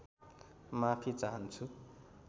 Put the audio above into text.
माफि चाहन्छु